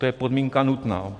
To je podmínka nutná.